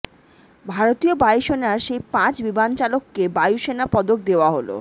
ভারতীয় বায়ুসেনার সেই পাঁচ বিমানচালককে বায়ুসেনা পদক দেওয়া হল